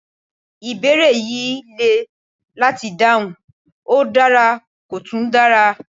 Ìbéèrè yìí le láti dáhùn, ó dára kò tún dara